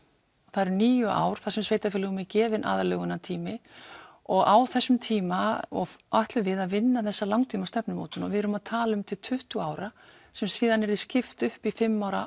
það eru níu ár þar sem sveitarfélögum er gefinn aðlögunartími og á þessum tíma ætlum við að vinna þessa langtímastefnumótun og við erum að tala um til tuttugu ára sem síðan yrði skipt upp í fimm ára